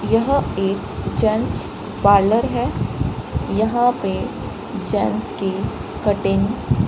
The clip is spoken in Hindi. यहां एक जेंट्स पार्लर है यहां पे जेंट्स की कटिंग --